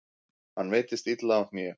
Hann meiddist illa á hné.